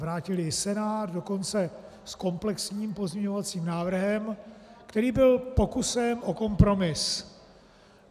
Vrátil jej Senát dokonce s komplexním pozměňovacím návrhem, který byl pokusem o kompromis.